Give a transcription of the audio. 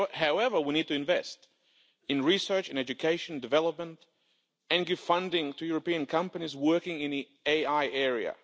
However, we need to invest in research, education and development, and give funding to European companies working in the AI area.